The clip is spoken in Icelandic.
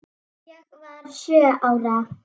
Ég var sjö ára.